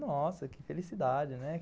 Nossa, que felicidade, né?